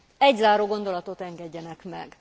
Egy zárógondolatot engedjenek meg.